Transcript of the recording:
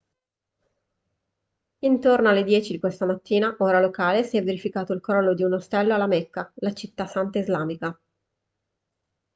intorno alle 10 di questa mattina ora locale si è verificato il crollo di un ostello alla mecca la città santa islamica